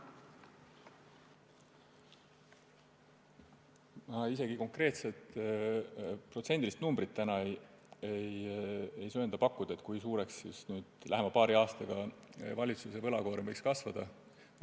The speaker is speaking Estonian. Ma isegi ei söanda täna pakkuda konkreetset protsendilist numbrit, kui suureks lähima paari aastaga meie valitsuse võlakoorem võib kasvada.